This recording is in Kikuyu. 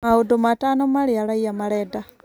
Maũndũ matano marĩa raia marenda.